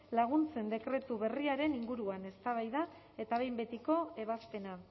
laguntzen dekretu berriaren inguruan eztabaida eta behin betiko ebazpena